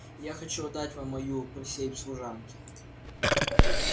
я хочу отдать вам мою присей в служанки